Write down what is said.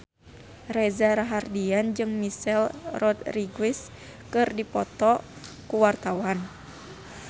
Reza Rahardian jeung Michelle Rodriguez keur dipoto ku wartawan